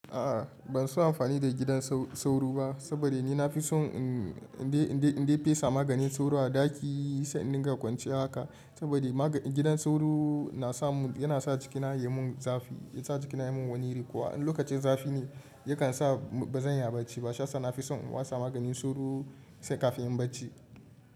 A'a ban so amfani da gidan sauro ba, saboda ni na fi son in dai fesa maganin sauro a ɗaki sai in dinga kwance haka. Saboda gidan sauro yana sa cikina ya mun wani iri, ko an lokacin zafi ne yakan sa ba zan iya bacci ba. Shiyasa na fi son watsa maganin sauro sai kafin in bacci.